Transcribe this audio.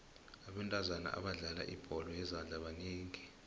abentazana abadlala ibholo yezandla banengi